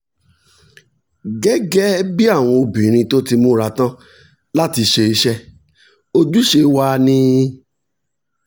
gẹ́gẹ́ bí àwọn obìnrin tó ti múra tán láti ṣe iṣẹ́ ojúṣe wa ni